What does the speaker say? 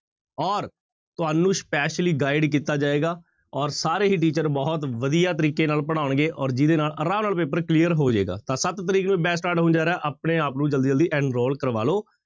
ਔਰ ਤੁਹਾਨੂੰ specially guide ਕੀਤਾ ਜਾਏਗਾ ਔਰ ਸਾਰੇ ਹੀ teacher ਬਹੁਤ ਵਧੀਆ ਤਰੀਕੇ ਨਾਲ ਪੜ੍ਹਾਉਣਗੇ ਔਰ ਜਿਹਦੇ ਨਾਲ ਆਰਾਮ ਨਾਲ ਪੇਪਰ clear ਹੋ ਜਾਏਗਾ, ਤਾਂ ਸੱਤ ਤਰੀਕ ਨੂੰ batch start ਹੋਣ ਜਾ ਰਿਹਾ ਆਪਣੇ ਆਪ ਨੂੰ ਜ਼ਲਦੀ ਜ਼ਲਦੀ enroll ਕਰਵਾ ਲਓ।